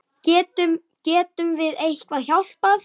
Getum, getum við eitthvað hjálpað?